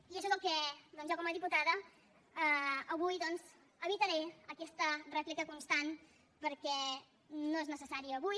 i això és el que jo com a diputada avui evitaré aquesta rèplica constant perquè no és necessari avui